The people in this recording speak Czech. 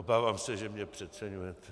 Obávám se, že mě přeceňujete.